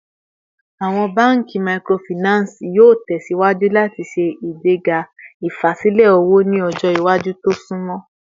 Awọn banki Microfinance yoo tẹsiwaju lati ṣe igbega ifasilẹ owo ni ọjọ iwaju to sunmọ